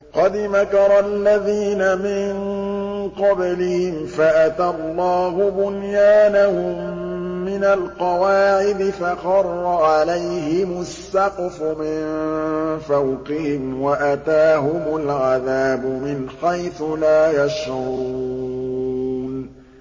قَدْ مَكَرَ الَّذِينَ مِن قَبْلِهِمْ فَأَتَى اللَّهُ بُنْيَانَهُم مِّنَ الْقَوَاعِدِ فَخَرَّ عَلَيْهِمُ السَّقْفُ مِن فَوْقِهِمْ وَأَتَاهُمُ الْعَذَابُ مِنْ حَيْثُ لَا يَشْعُرُونَ